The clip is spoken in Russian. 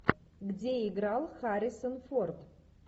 где играл харрисон форд